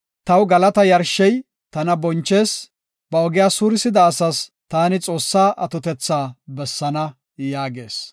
Taw galata yarshey tana bonchees; ba ogiya suurisida asas taani Xoossaa atotetha bessaana” yaagees.